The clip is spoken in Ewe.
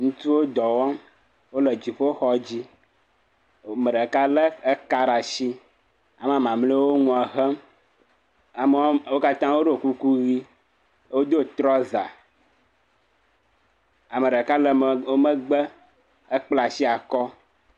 Ŋutsuwo dɔ wɔm wole dziƒo xɔ dzi. Ame ɖeka lé ka ɖe asi. Ame mamlɛawo le nua hem. Wo katã woɖɔ kuku ʋi, wodo trɔza, ame ɖeka le wo megbe hekpla asi akɔ.